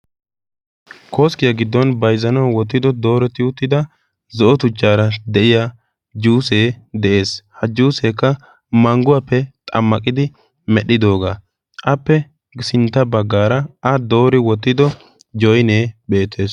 Koskiya giddon bayizzanawu wottido dooretti uttida zo"o tuchaara de'iya juuse de'es. Ha juusekka manguwappe xammaqidi medhidoogaa. Appe sintta baggaara a doori wottido joyinee beettes.